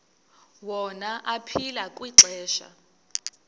wona aphila kwixesha